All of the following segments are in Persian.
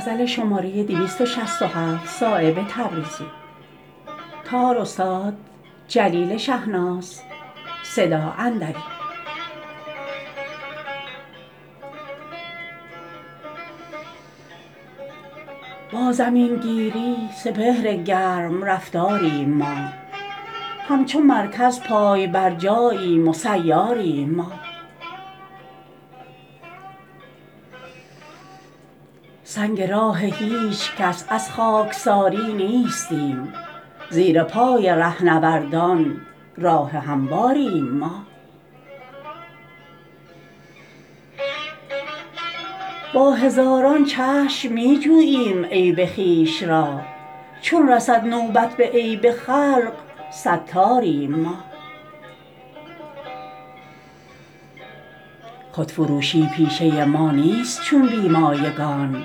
با زمین گیری سپهر گرم رفتاریم ما همچو مرکز پای بر جاییم و سیاریم ما سنگ راه هیچ کس از خاکساری نیستیم زیر پای رهنوردان راه همواریم ما با هزاران چشم می جوییم عیب خویش را چون رسد نوبت به عیب خلق ستاریم ما خودفروشی پیشه ما نیست چون بی مایگان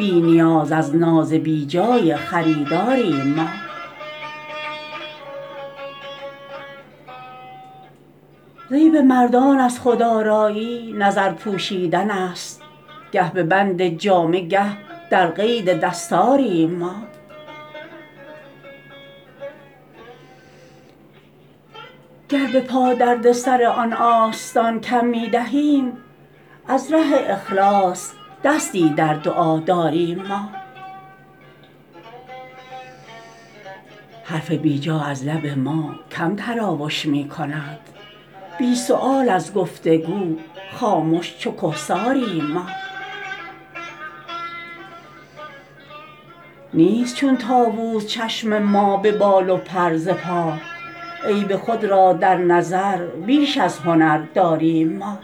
بی نیاز از ناز بی جای خریداریم ما زیب مردان از خودآرایی نظر پوشیدن است گه به بند جامه گه در قید دستاریم ما گر به پا درد سر آن آستان کم می دهیم از ره اخلاص دستی در دعا داریم ما حرف بی جا از لب ما کم تراوش می کند بی سؤال از گفتگو خامش چو کهساریم ما نیست چون طاوس چشم ما به بال و پر ز پا عیب خود را در نظر بیش از هنر داریم ما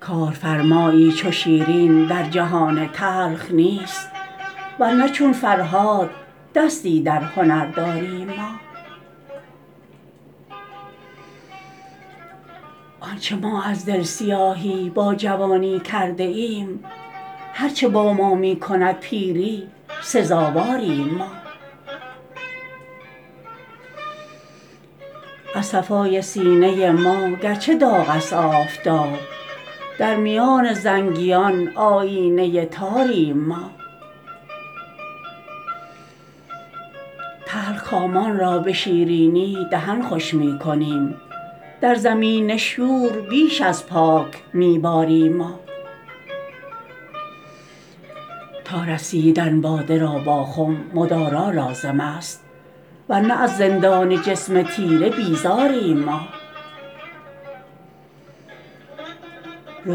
کارفرمایی چو شیرین در جهان تلخ نیست ورنه چون فرهاد دستی در هنر داریم ما آنچه ما از دل سیاهی با جوانی کرده ایم هر چه با ما می کند پیری سزاواریم ما از صفای سینه ما گرچه داغ است آفتاب در میان زنگیان آیینه تاریم ما تلخکامان را به شیرینی دهن خوش می کنیم در زمین شور بیش از پاک می باریم ما تا رسیدن باده را با خم مدارا لازم است ورنه از زندان جسم تیره بیزاریم ما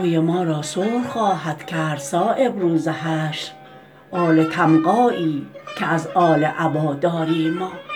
روی ما را سرخ خواهد کرد صایب روز حشر آل تمغایی که از آل عبا داریم ما